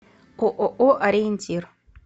ооо ориентир